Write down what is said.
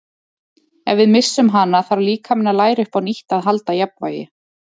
Ef við missum hana þarf líkaminn að læra upp á nýtt að halda jafnvægi.